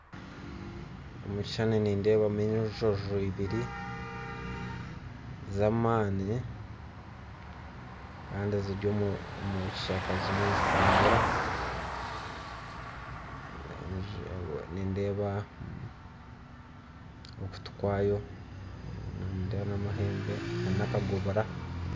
Omukishani nindebamu enjojo ebiri zamani, Kandi ziryomurushaka zimu nizitambura, nindeba okutu kwayo nindeba namahembe nana kagobora.